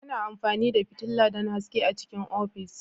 Ana amfani da fitila don haske a cikin ofis.